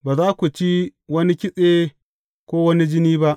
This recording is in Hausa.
Ba za ku ci wani kitse ko wani jini ba.